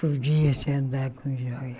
Podia-se andar com joia.